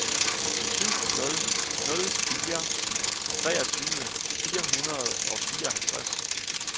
syv nul nul fire treogtyve fire hundrede og fireoghalvtreds